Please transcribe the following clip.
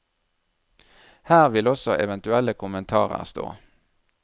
Her vil også eventuelle kommentarer stå.